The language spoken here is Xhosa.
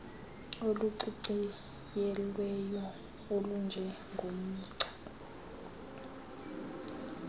oluciciyelweyo olunje ngomgca